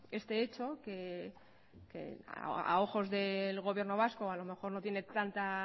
este hecho que a ojos del gobierno vasco a lo mejor no tiene tanta